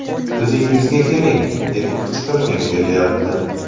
O‘zingizga keling, deb qichqirgim kelyapti!